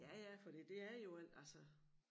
Ja ja fordi det er jo en altså